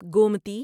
Gomti